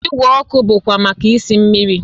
Igwe ọkụ bụkwa maka isi mmiri